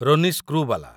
Ronnie Screwvala